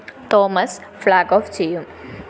Thomas flag off ചെയ്യും